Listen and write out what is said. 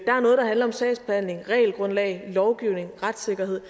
er noget der handler om sagsbehandling regelgrundlag lovgivning retssikkerhed